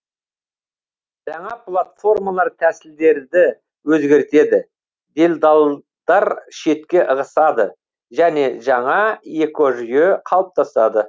жаңа платформалар тәсілдерді өзгертеді делдалдар шетке ығысады және жаңа экожүйе қалыптасады